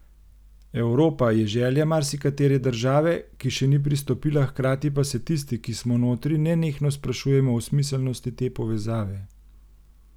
Evropa je želja marsikatere države, ki še ni pristopila, hkrati pa se tisti, ki smo notri, nenehno sprašujemo o smiselnosti te povezave.